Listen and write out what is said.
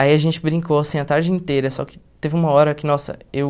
Aí a gente brincou assim a tarde inteira, só que teve uma hora que, nossa, eu...